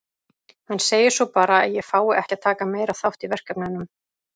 Hann segir svo bara að ég fái ekki að taka meira þátt í verkefnunum.